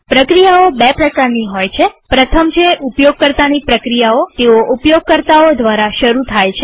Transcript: પ્રક્રિયાઓ બે પ્રકારની હોય છે પ્રથમ છે ઉપયોગકર્તાની પ્રક્રિયાઓતેઓ ઉપયોગકર્તાઓ દ્વારા શરુ થાય છે